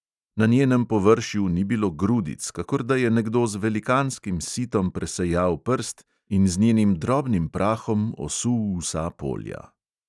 Na njenem površju ni bilo grudic, kakor da je nekdo z velikanskim sitom presejal prst in z njenim drobnim prahom osul vsa polja.